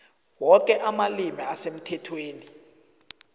woke amalimi asemthethweni